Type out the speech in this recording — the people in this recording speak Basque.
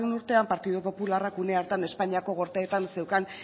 urtean partidu popularrak une hartan espainiako gorteetan zeukan